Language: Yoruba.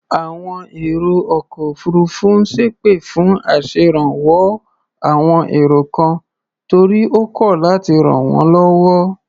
Àwọn èrò ọkọ̀ òfuurufú ń ṣẹ́pè fún aṣèrànwọ́ àwon èrò kan torí ó kọ̀ láti ràn wọ́n lọ́wọ́.